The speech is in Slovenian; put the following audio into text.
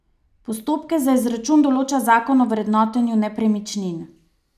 Postopke za izračun določa zakon o vrednotenju nepremičnin.